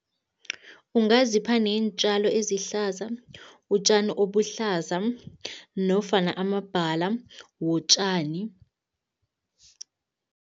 Ungazipha neentjalo ezihlaza, utjani obuhlaza nofana amabhala wotjani.